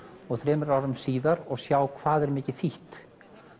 og þremur árum síðar og sjá hvað er mikið þýtt